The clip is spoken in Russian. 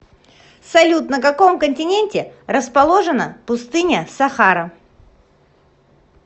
салют на каком континенте расположена пустыня сахара